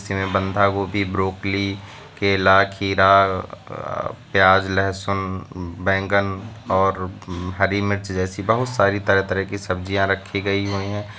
गोभी ब्रोकली केला खीरा अह प्याज लहसुन बैंगन और हरी मिर्च जैसी बहोत सारी तरह तरह की सब्जियां रखी गई हुई है।